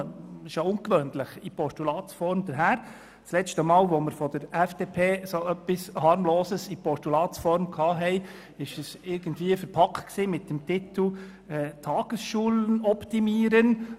Das letzte Mal, da wir von der FDP einen solchen harmlos aussehenden Vorstoss erhalten haben, trug dieser den Titel «Tagesschulen optimieren».